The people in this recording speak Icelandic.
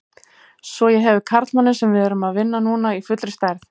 Svo ég hefi karlmanninn sem við erum að vinna núna í fullri stærð.